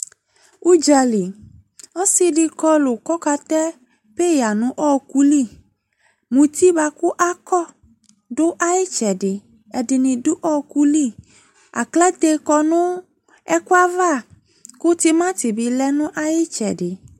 Udzali, ɔse de kɔ kɔkatɛ peya no ɔki li Muti boako akɔ do aye tsɛdeƐde ne do ɔlu liAklate kɔ no ɛku ava ko timati be lɛ no aye tsɛde